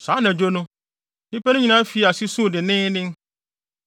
Saa anadwo no, nnipa no nyinaa fii ase suu denneennen.